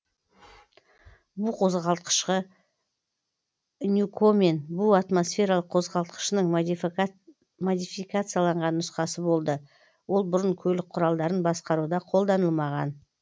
бу қозғалтқышы ньюкомен бу атмосфералық қозғалтқышының модификацияланған нұсқасы болды ол бұрын көлік құралдарын басқаруда қолданылмаған